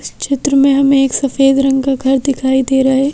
इस चित्र में हमें एक सफेद रंग का घर दिखाई दे रहा है।